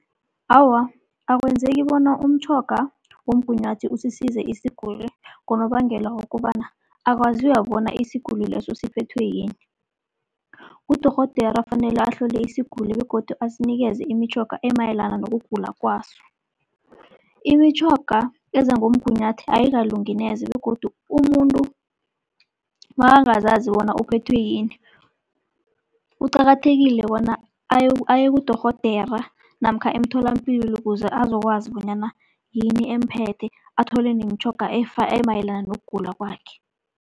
Awa, akwenzeki bona umtjhoga womgunyathi usisize isiguli, ngonobangela wokobana akwaziwa bona isiguli leso siphethwe yini. Ngudorhodera fanele ahlole isiguli begodu asinikeze imitjhoga emayelana nokugula kwaso. Imitjhoga eza ngomgunyathi ayikalungi neze begodu umuntu makangazazi bona uphethwe yini, kuqakathekile bona aye kudorhodera namkha emtholapilo kuze azokwazi bonyana yini emphethe athole nemitjhoga emayelana nokugula kwakhe.